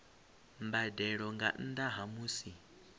mbadelo nga nnda ha musi